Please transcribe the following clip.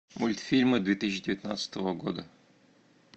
мультфильмы две тысячи девятнадцатого года